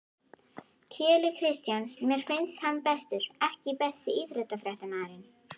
Keli Kristjáns mér finnst hann bestur EKKI besti íþróttafréttamaðurinn?